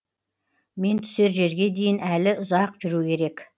мен түсер жерге дейін әлі ұзақ жүру керек